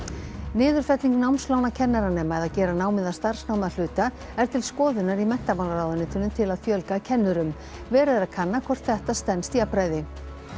niðurfelling námslána kennaranema eða gera námið að starfsnámi að hluta er til skoðunar í menntamálaráðuneytinu til að fjölga kennurum verið er að kanna hvort þetta stenst jafnræði